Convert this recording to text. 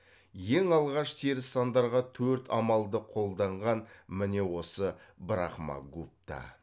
ең алғаш теріс сандарға төрт амалды қолданған міне осы брахма гупта